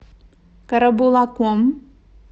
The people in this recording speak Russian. карабулаком